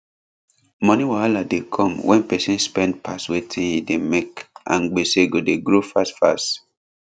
money wahala dey come when person spend pass wetin e dey make and gbese go dey grow fast fast